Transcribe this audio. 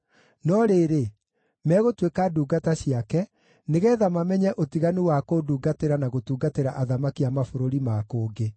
No rĩrĩ, megũtuĩka ndungata ciake, nĩgeetha mamenye ũtiganu wa kũndungatĩra na gũtungatĩra athamaki a mabũrũri ma kũngĩ.”